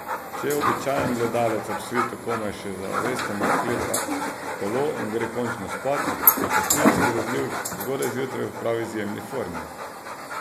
Če običajen gledalec ob svitu komaj še zavesten odklepa kolo in gre končno spat, so častilci grozljivk zgodaj zjutraj v prav izjemni formi.